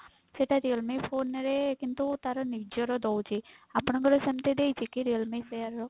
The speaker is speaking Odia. ସେଟା realme phone ରେ କିନ୍ତୁ ତାର ନିଜର ଦଉଛି ଆପଣଙ୍କର ସେମିତି ଦେଇଛି କି realme share ର?